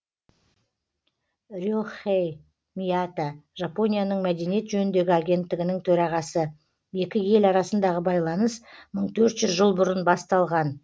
ре хэй мията жапонияның мәдениет жөніндегі агенттігінің төрағасы екі ел арасындағы байланыс мың төрт жүз жыл бұрын басталған